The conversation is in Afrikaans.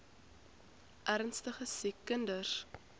ernstige siek kinders